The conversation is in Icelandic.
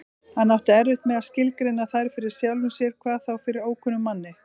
Hann átti erfitt með að skilgreina þær fyrir sjálfum sér, hvað þá fyrir ókunnugum manni.